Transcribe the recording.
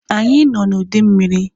Anyị nọ na ụdị mmiri